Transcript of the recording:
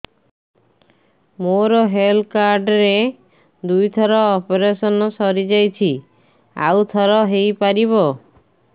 ମୋର health card ରେ ଦୁଇ ଥର ଅପେରସନ ସାରି ଯାଇଛି ଆଉ ଥର ହେଇପାରିବ